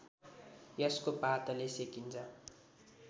यसको पातले सेकिन्छ